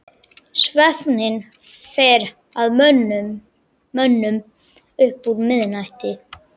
Svefninn fer að mönnum upp úr miðnætti.